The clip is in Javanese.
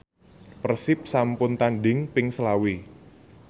Persib sampun tandhing ping selawe